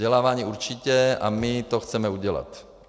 Vzdělávání určitě, a my to chceme udělat.